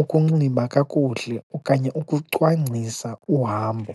ukunxiba kakuhle, okanye ukucwangcisa uhambo.